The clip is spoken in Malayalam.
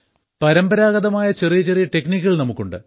പരമ്പരാഗതമായുള്ള ചെറിയ ചെറിയ ടെക്നിക്കുകൾ നമുക്കുണ്ട്